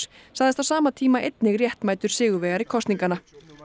sagðist á sama tíma einnig réttmætur sigurvegari kosninganna